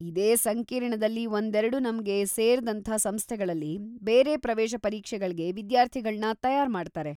ಇದೇ ಸಂಕೀರ್ಣದಲ್ಲಿ ಒಂದೆರ್ಡು ನಮ್ಗೆ ಸೇರ್ದಂಥ ಸಂಸ್ಥೆಗಳಲ್ಲಿ ಬೇರೆ ಪ್ರವೇಶ ಪರೀಕ್ಷೆಗಳ್ಗೆ ವಿದ್ಯಾರ್ಥಿಗಳನ್ನ ತಯಾರ್ ಮಾಡ್ತಾರೆ.